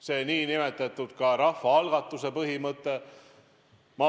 Samuti rahvaalgatuse põhimõtet.